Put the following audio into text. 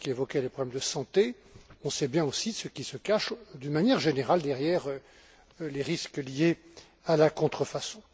Borys qui évoquait les problèmes de santé on sait bien aussi ce qui se cache d'une manière générale derrière les risques liés à la contrefaçon.